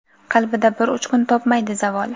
Qalbida bir uchqun topmaydi zavol.